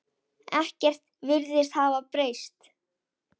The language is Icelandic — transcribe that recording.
Ekkert virðist hafa breyst.